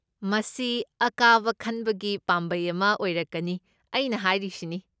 ꯃꯁꯤ ꯑꯀꯥꯕ ꯈꯟꯕꯒꯤ ꯄꯥꯝꯕꯩ ꯑꯃ ꯑꯣꯏꯔꯛꯀꯅꯤ, ꯑꯩꯅ ꯍꯥꯏꯔꯤꯁꯤꯅꯤ꯫